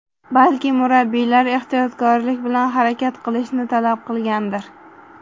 Balki murabbiylar ehtiyotkorlik bilan harakat qilishni talab qilgandir.